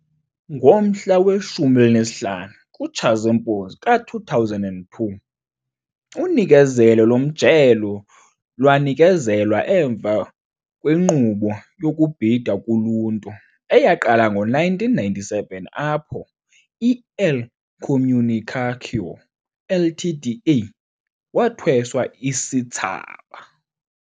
Ngomhla we-15 kuTshazimpuzi ka-2002, unikezelo lomjelo lwanikezelwa emva kwenkqubo yokubhida kuluntu, eyaqala ngo-1997, apho i-Elo Comunicação Ltda. wathweswa isithsaba.